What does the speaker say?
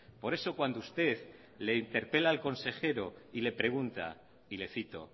por eso cuando usted le interpela al consejero y le pregunta y le cito